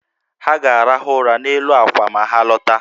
Ha ga-arahụ ụra n’elu àkwà ma ha lọta